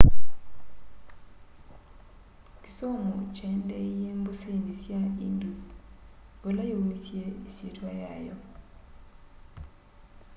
kĩsomo kyaendeeie mbũsĩnĩ sya ĩndũs vala yaũmĩsye ĩsyĩtwa yayo